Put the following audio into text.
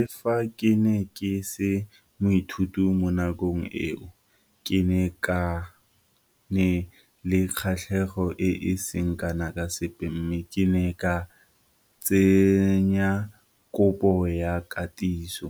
Le fa ke ne ke se moithuti mo nakong eo, ke ne ke na le kgatlhego e e seng kana ka sepe mme ke ne ka tsenya kopo ya katiso,